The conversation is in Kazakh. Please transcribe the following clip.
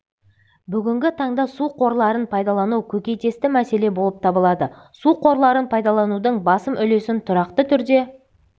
бүгінгі таңда су қорларын пайдалану көкейкесті мәселе болып табылады су қорларын пайдаланудың басым үлесін тұрақты түрде